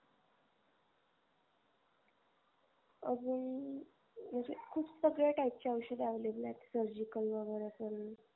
अजून म्हणजे खूप सगळ्या type चे औषध available आहेत surgical वगेरे करून